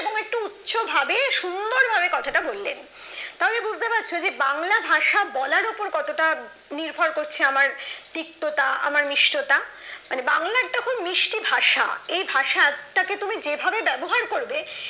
এরকম একটু উচ্চ ভাবে সুন্দর ভাবে কথাটা বললেন তবে বুঝতে পারছো যে বাংলা ভাষা বলার ওপর কতটা নির্ভর করছে আমার তিক্ত তা আমার নিষ্ঠতা মানে বাংলা একটা খুব মিষ্টি ভাষা এই ভাষাটাকে তুমি যেভাবে ব্যবহার করবে